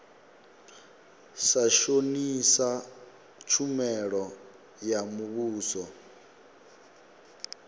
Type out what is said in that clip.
sa shonisa tshumelo ya muvhuso